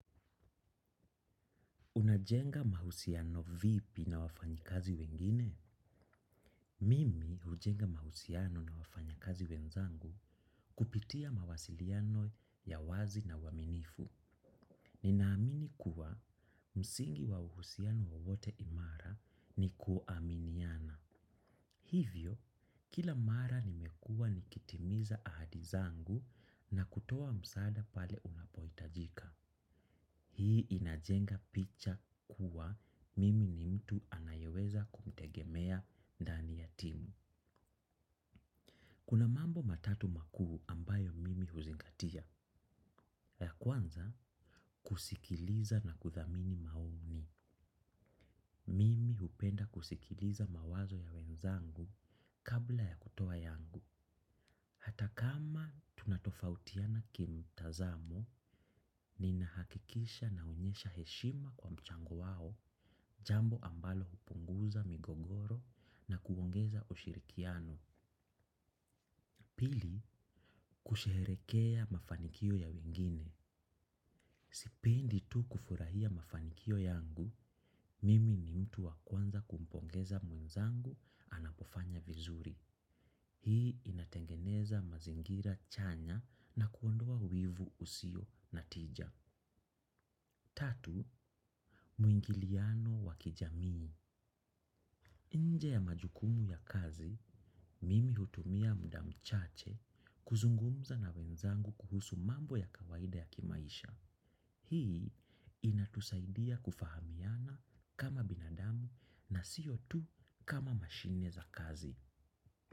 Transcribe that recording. Unajenga mahusiano vipi na wafanyi kazi wengine? Mimi ujenga mahusiano na wafanyi kazi wenzangu kupitia mawasiliano ya wazi na waminifu. Ninaamini kuwa msingi wa uhusiano wowote imara ni kuaminiana. Hivyo, kila mara nimekua nikitimiza ahadizangu na kutowa msada pale unapoitajika. Hii inajenga picha kuwa mimi ni mtu anayeweza kumtegemea ndani ya timu. Kuna mambo matatu makuu ambayo mimi huzingatia. Ya kwanza kusikiliza na kuthamini maoni. Mimi upenda kusikiliza mawazo ya wenzangu kabla ya kutoa yangu. Hata kama tunatofautiana kimtazamo, nina hakikisha naonyesha heshima kwa mchango wao, jambo ambalo hupunguza migogoro na kuongeza ushirikiano. Pili, kusherekea mafanikio ya wengine. Sipendi tu kufurahia mafanikio yangu, mimi ni mtu wakuanza kumpongeza mwenzangu anapofanya vizuri. Hii inatengeneza mazingira chanya na kuondoa wivu usio. Na tija, tatu, muingiliano wakijamii. Nje ya majukumu ya kazi, mimi hutumia muda mchache kuzungumza na wenzangu kuhusu mambo ya kawaida ya kimaisha. Hii inatusaidia kufahamiana kama binadamu na siyo tu kama mashine za kazi.